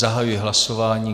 Zahajuji hlasování.